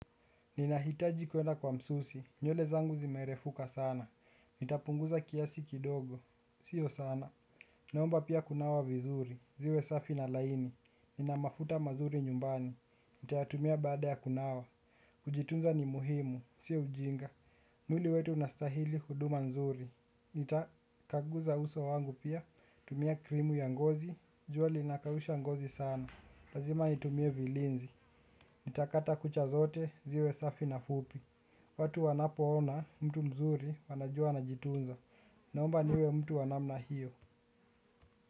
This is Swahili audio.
Ninahitaji kwenda kwa msusi, nywele zangu zimerefuka sana, nitapunguza kiasi kidogo, sio sana. Naomba pia kunawa vizuri, ziwe safi na laini, ninamafuta mazuri nyumbani, nitayatumia baada ya kunawa. Kujitunza ni muhimu, sio ujinga, mwili wetu unastahili huduma nzuri. Nitakaguza uso wangu pia, tumia krimu ya ngozi, jua linakausha ngozi sana, lazima nitumie vilinzi. Nitakata kucha zote, ziwe safi na fupi. Watu wanapo ona, mtu mzuri, wanajua ana jitunza. Naomba niwe mtu wa namna hiyo.